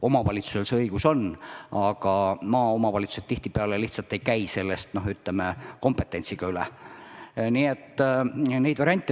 Omavalitsusel see õigus on, aga maaomavalitsused tihtipeale lihtsalt ei käi sellest kompetentsiga üle.